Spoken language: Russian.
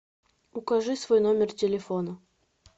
укажи свой номер телефона